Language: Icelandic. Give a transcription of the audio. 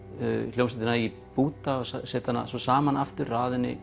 hljómsveitina í búta og setja hana saman aftur raða henni